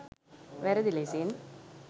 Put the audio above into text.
වැරදි ලෙසින්